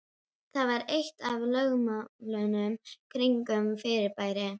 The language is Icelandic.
Það var eitt af lögmálunum kringum fyrirbærið.